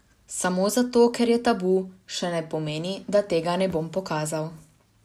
Samo zato, ker je tabu, še ne pomeni, da tega ne bom pokazal.